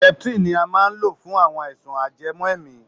Septrin ni a maá ń lo fún àwọn àìsàn ajẹmọ́ èèmí.